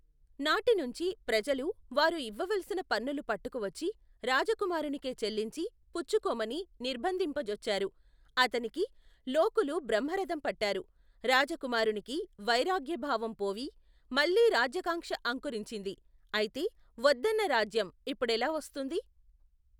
నాటినుంచీ, ప్రజలు, వారు ఇవ్వవలసిన పన్నులు పట్టుకువచ్చి, రాజకుమారునికే చెల్లించి, పుచ్చుకోమని, నిర్బంధింపజొచ్చారు, అతనికి, లోకులు బ్రహ్మరధం పట్టారు, రాజకుమారునికి, వైరాగ్యభావం పోయి, మళ్ళీ రాజ్యకాంక్ష అంకురించింది, ఐతే, వద్దన్న రాజ్యం, ఇప్పుడెలా వస్తుంది.